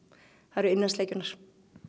eru innansleikjurnar